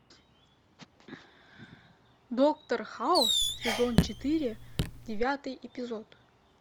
доктор хаус сезон четыре девятый эпизод